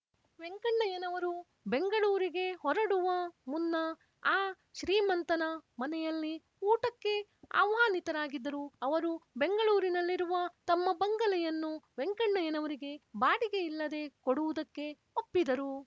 ವೆಂಕಣ್ಣಯ್ಯನವರು ಬೆಂಗಳೂರಿಗೆ ಹೊರಡುವ ಮುನ್ನ ಆ ಶ್ರೀಮಂತನ ಮನೆಯಲ್ಲಿ ಊಟಕ್ಕೆ ಆಹ್ವಾನಿತರಾಗಿದ್ದರು ಅವರು ಬೆಂಗಳೂರಿನಲ್ಲಿರುವ ತಮ್ಮ ಬಂಗಲೆಯನ್ನು ವೆಂಕಣ್ಣಯ್ಯನವರಿಗೆ ಬಾಡಿಗೆ ಇಲ್ಲದೆ ಕೊಡುವುದಕ್ಕೆ ಒಪ್ಪಿದರು